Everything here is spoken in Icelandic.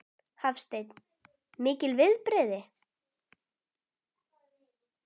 Hafsteinn: Mikil viðbrigði?